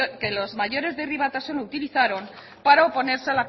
que los mayores de herri batasuna utilizaron para oponerse